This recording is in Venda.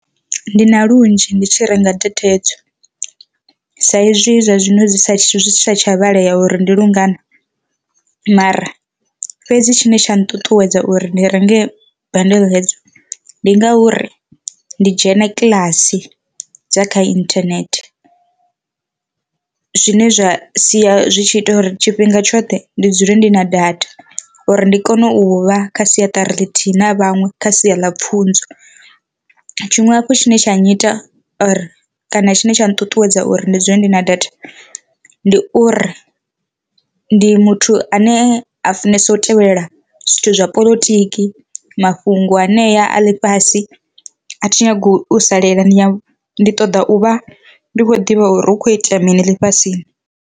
Ndi na lunzhi ndi tshi renga data hedzo sa izwi zwa zwino zwi sa tsha vhalea uri ndi lungana mara fhedzi tshine tsha nṱuṱuwedza uri ndi renge bundle hedzo, ndi ngauri ndi dzhena kiḽasi dza kha inthanethe zwine zwa sia zwi tshi ita uri tshifhinga tshoṱhe ndi dzule ndi na data, uri ndi kone u vha kha siaṱari ḽithihi na vhaṅwe kha sia ḽa pfhunzo, tshiṅwe hafhu tshine tsha nyita or kana tshine tsha nṱuṱuwedza uri ndi dzule ndi na data, ndi uri ndi muthu ane a funesa u tevhelela zwithu zwa poḽotiki mafhungo anea a ḽifhasi a thi nyagi u salela ndi ṱoḓa u vha ndi khou ḓivha uri hu kho itea mini ḽifhasini.